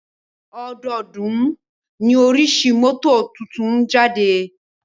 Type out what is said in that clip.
Ọdọọ́dún ní oríṣi mọ́tò tuntun ń jáde.